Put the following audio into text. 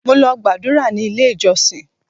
Mo lọ gbàdúrà ní ilé ìjọsìn.